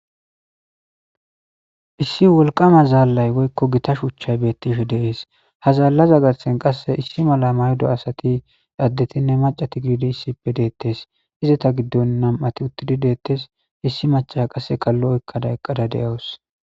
issi wolqama zaallay woykko gita shuuchchay bettisho deees ha zaallaza garsen qasse issi mala maydo asati addetinne macati giidi issippe deettes izata giddon nam7ati uttidi deettes issi macha qasse kallo oykkada eqqada de7awus